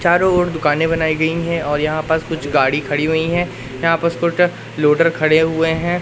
चारों ओर दुकानें बनाई गई हैं और यहां पास कुछ गाड़ी खड़ी हुई हैं यहां पर स्कूटर लोडर खड़े हुए हैं।